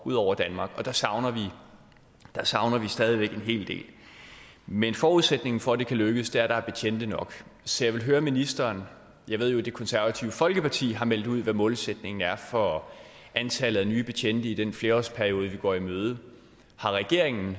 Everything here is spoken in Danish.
ud over danmark og der savner der savner vi stadig væk en hel del men forudsætningen for at det kan lykkes er at der er betjente nok så jeg vil høre ministeren jeg ved jo at det konservative folkeparti har meldt ud hvad målsætningen er for antallet af nye betjente i den flerårsperiode vi går i møde har regeringen